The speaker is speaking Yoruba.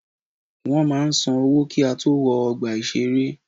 Wọ́n máa san owó kí á tó wọ ọgbà ìṣeré.